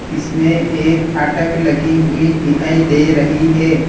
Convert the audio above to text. इसमें एक फाटक लगी हुई दिखाई दे रही है।